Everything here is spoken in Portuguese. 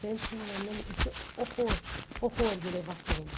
Sempre terminando, eu tinha horror, horror de levar tombo.